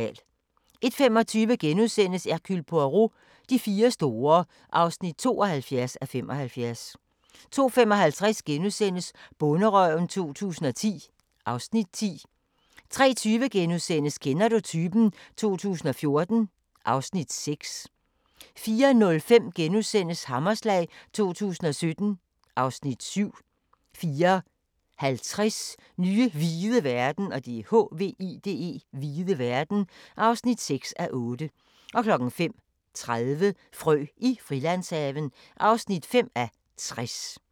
01:25: Hercule Poirot: De fire store (72:75)* 02:55: Bonderøven 2010 (Afs. 10)* 03:20: Kender du typen? 2014 (Afs. 6)* 04:05: Hammerslag 2017 (Afs. 7)* 04:50: Nye hvide verden (6:8) 05:30: Frø i Frilandshaven (5:60)